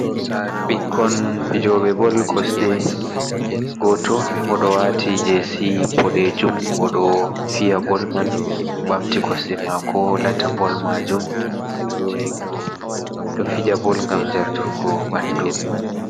Ɓikkon fijobe Bol kosɗe, goto oɗo wati jesi bodejum, oɗo fiya Bol man ɓamti kosɗe mako lata Bol majom, ɓeɗo fija Bol gam jartungo ɓanɗu.